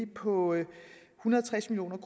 på en hundrede og tres million